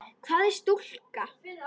Hvað er stúka?